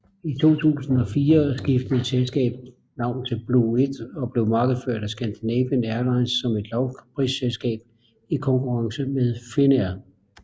I 2004 skiftede selskabet navn til Blue1 og blev markedsført af Scandinavian Airlines som et lavprisselskab i konkurrence med Finnair